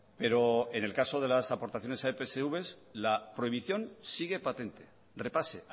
pero en el caso de las aportaciones a epsv la prohibición sigue patente repase